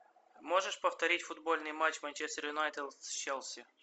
можешь повторить футбольный матч манчестер юнайтед с челси